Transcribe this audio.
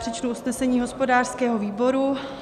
Přečtu usnesení hospodářského výboru.